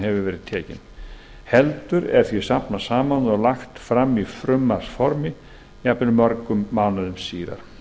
hefur verið tekin heldur er því safnað saman eða lagt fram í frumvarpsformi jafnvel mörgum mánuðum síðar